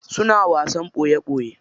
Suna wasan ɓoye ɓoye.